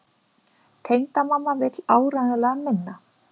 Tengdamamma vill áreiðanlega minna.